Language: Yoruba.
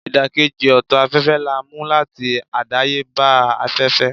idakeji oto afefe la mu lati adayeba afefe.